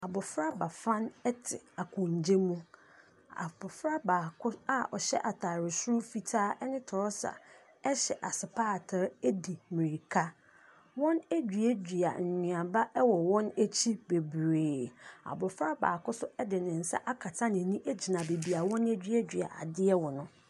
Abɔfra bafan te akonnwa mu. Abɔfra baako a ɔhyɛ atare soro fitaa ne torɔsa hyɛ asopaatere di mmirika. Wɔaduadua nnuaba wɔ wɔn akyi bebree. Abɔfra baako nso de ne nsa akata n'ani gyina baabi a wɔaduadua adeɛ wɔ no.